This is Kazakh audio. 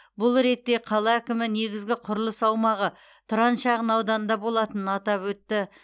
бұл ретте қала әкімі негізгі құрылыс аумағы тұран шағын ауданында болатынын атап өтті